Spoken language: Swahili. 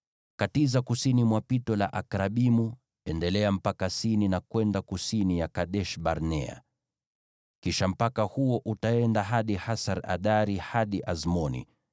katiza kusini mwa Pito la Akrabimu, endelea mpaka Sini na kwenda kusini ya Kadesh-Barnea. Kisha mpaka huo utaenda hadi Hasar-Adari hadi Azmoni,